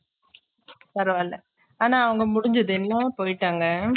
பரவால ஆனா அவங்க முடுஞ்சதுமே போய்ட்டாங்க